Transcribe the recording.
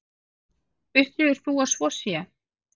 Upplifir þú að svo sé?